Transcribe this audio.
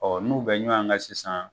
Ɔ n'u bɛ ɲɔgɔn kan sisan